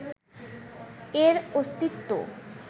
এর অস্তিত্ব